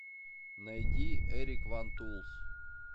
найди эрик ван тулс